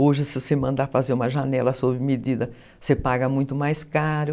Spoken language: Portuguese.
Hoje, se você mandar fazer uma janela sob medida, você paga muito mais caro.